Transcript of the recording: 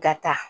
Ka taa